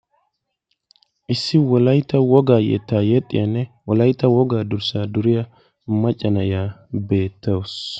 issi wolaytta wogaa yettaa yexxiyaanne wolayitta wogaa durssaa duriya macca na'iya beettawusu.